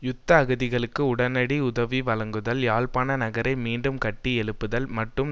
யுத்த அகதிகளுக்கு உடனடி உதவி வழங்குதல் யாழ்ப்பாண நகரை மீண்டும் கட்டி எழுப்புதல் மற்றும்